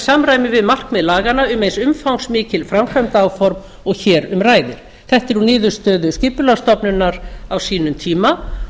samræmi við markmið laganna um eins umfangsmikil framkvæmdaáform og hér um ræðir þetta er úr niðurstöðu skipulagsstofnunar á sínum tíma og